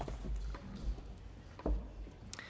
tak for